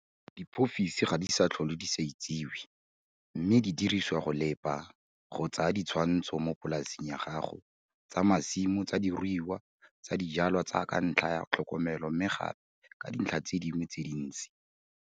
Diiphofisi ga di sa tlhole di sa itsewe mme di dirisiwa go lepa, go tsaya ditshwantsho mo polaseng ya gago - tsa masimo, tsa diruiwa, tsa dijwalwa tsa ka ntlha ya tlhokomelo mme gape ka dintlha tse dingwe tse dintsi.